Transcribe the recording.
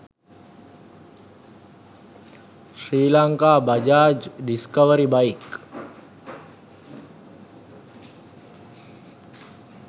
srilanka bajaj discovery bike